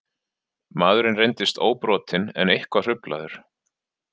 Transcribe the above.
Maðurinn reyndist óbrotinn en eitthvað hruflaður